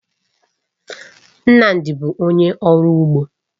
Nnamdi bụ onye ọrụ ugbo